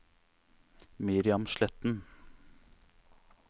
Miriam Sletten